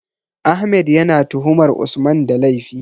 Ahmed ya na tuhumar Usman da laifi